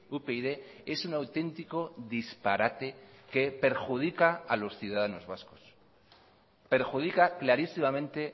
upyd es un auténtico disparate que perjudica a los ciudadanos vascos perjudica clarísimamente